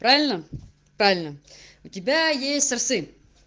правильно правильно у тебя есть сын